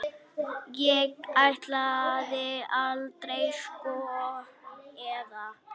Ég ætlaði aldrei, sko, eða.